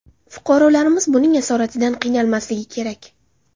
Fuqarolarimiz buning asoratidan qiynalmasligi kerak.